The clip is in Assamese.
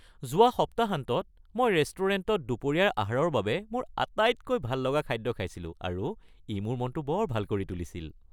যোৱা সপ্তাহান্তত মই ৰেষ্টুৰেণ্টত দুপৰীয়াৰ আহাৰৰ মোৰ আটাইতকৈ ভাল লগা খাদ্য খাইছিলো, আৰু ই মোৰ মনতো বৰ ভাল কৰি তুলিছিল।